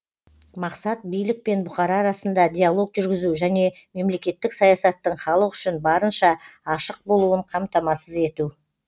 мақсат билік пен бұқара арасында диалог жүргізу және мемлекеттік саясаттың халық үшін барынша ашық болуын қамтамасыз ету